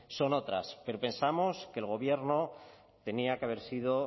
son otras pero pensamos que el gobierno tenía que haber sido